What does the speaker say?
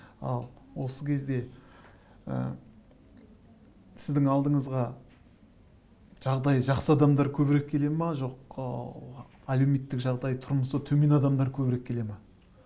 ал осы кезде ы сіздің алдыңызға жағдайы жақсы адамдар көбірек келе ме жоқ әлеуметтік жағдайы тұрмысы төмен адамдар көбірек келе ме